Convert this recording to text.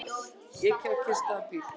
Ekið á kyrrstæðan bíl